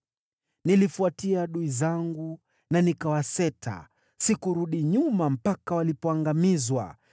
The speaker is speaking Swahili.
“Niliwafuatia adui zangu na nikawaseta, sikurudi nyuma mpaka walipoangamizwa.